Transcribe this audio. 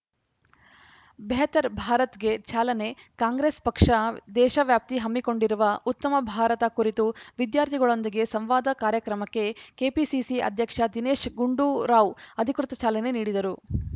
ಬೆಹತರ್‌ ಭಾರತ್‌ಗೆ ಚಾಲನೆ ಕಾಂಗ್ರೆಸ್‌ ಪಕ್ಷ ದೇಶವ್ಯಾಪಿ ಹಮ್ಮಿಕೊಂಡಿರುವ ಉತ್ತಮ ಭಾರತ ಕುರಿತು ವಿದ್ಯಾರ್ಥಿಗಳೊಂದಿಗೆ ಸಂವಾದ ಕಾರ್ಯಕ್ರಮಕ್ಕೆ ಕೆಪಿಸಿಸಿ ಅಧ್ಯಕ್ಷ ದಿನೇಶ್‌ ಗುಂಡೂರಾವ್‌ ಅಧಿಕೃತ ಚಾಲನೆ ನೀಡಿದರು